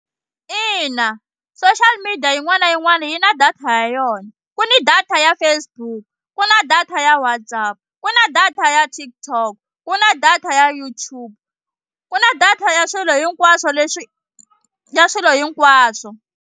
Ina social media yin'wana na yin'wana yi na data ya yona ku ni data ya Facebook ku na data ya WhatsApp ku na data ya TikTok ku na data ya YouTube ku na data ya swilo hinkwaswo leswi ya swilo hinkwaswo.